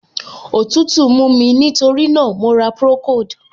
Òtútù mú mí, nítorí náà, mo ra procold.